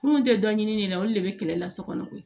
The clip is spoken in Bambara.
Kunun tɛ dɔ ɲini ne la o de bɛ kɛlɛ la sokɔnɔ koyi